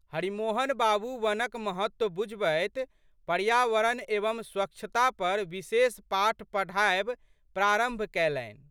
हरिमोहन बाबू वनक महत्व बुझबैत वनपर्यावरण एवं स्वच्छता पर विशेष पाठ पढ़ायब प्रारंभ कैलनि।